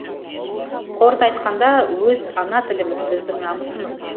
қорыта айтқанда өз ана тіліміз біздің намысымыз